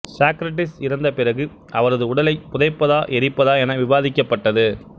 சாக்ரடிஸ் இறந்த பிறகு அவரது உடலைப் புதைப்பதா எரிப்பதா என விவாதிக்கப்பட்டது